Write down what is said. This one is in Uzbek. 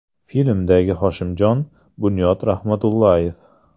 Filmdagi Hoshimjon - Bunyod Rahmatullayev.